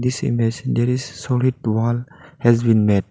see base there is silluk wall has been made.